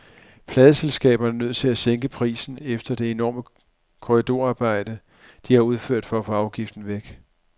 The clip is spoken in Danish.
Pladeselskaberne er nødt til at sænke prisen efter det enorme korridorarbejde, de har udført for at få afgiften væk.